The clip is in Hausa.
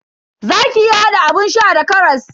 Zaki iya hada abun sha da karas.